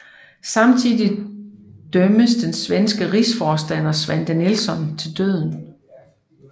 Samtidig dømmes den svenske rigsforstander Svante Nilsson til døden